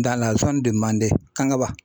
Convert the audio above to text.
manden KANGABA.